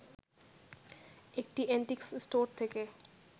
একটি antique store থেকে